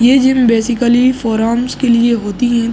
ये gym basically forearms के लिए होती हैं।